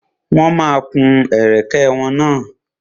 Wọ́n ma kun ẹ̀kẹ́ wọn náà.